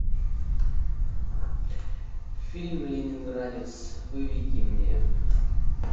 фильм ленинградец выведи мне